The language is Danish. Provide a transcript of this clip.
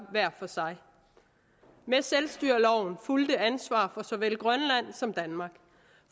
hver for sig med selvstyreloven fulgte ansvar for såvel grønland som danmark